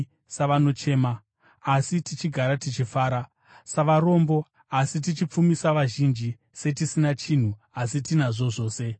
savanochema, asi tichigara tichifara; savarombo, asi tichipfumisa vazhinji; setisina chinhu, asi tinazvo zvose.